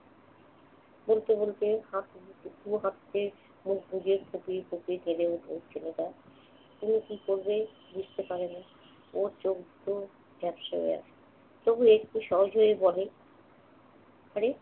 বলতে বলতে শুভ হাত ছেড়ে মুখ বুজে ফুঁপিয়ে ফুঁপিয়ে কেঁদে ওঠে ছেলেটা। তনু কি করবে বুঝতে পারে না। ওর চোখ দুটো ঝাঁপসা হয়ে আসছে তবু একটু সহজ হয়ে বলে আরে